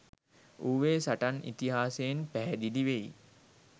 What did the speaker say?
ඌවේ සටන් ඉතිහාසයෙන් පැහැදිලි වෙයි.